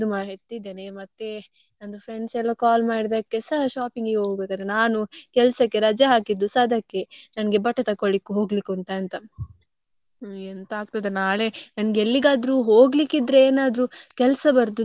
ಹೋಗ್ಬೇಕು ನಾನು ಕೆಲ್ಸಕ್ಕೆ ರಜೆ ಹಾಕಿದ್ದುಸ ಅದಕ್ಕೆ ನನ್ಗೆ ಬಟ್ಟೆ ತಕ್ಕೊಳಿಕ್ಕೆ ಹೋಗ್ಲಿಕ್ಕೆ ಉಂಟು ಅಂತ. ಎಂತ ಆಗ್ತದ ನಂಗ್ ಎಲ್ಲಿಗಾದ್ರೂ ಹೋಗಲಿಕ್ಕೆ ಇದ್ರೆ ಏನಾದ್ರೂ ಕೆಲ್ಸ ಬರುದು ಜಾಸ್ತಿ. ನಾಳೆ ಒಂದು ನನ್ಗೆ ಎಂತ ಕೆಲ್ಸ ಬರಲಿಲ್ಲ ಆದ್ರೆ ಸಾಕು.